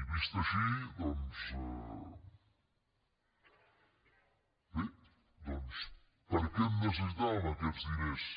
i vist així doncs bé per a què necessitàvem aquests diners